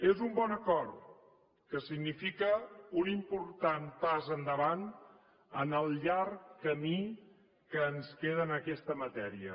és un bon acord que significa un important pas endavant en el llarg camí que ens queda en aquesta matèria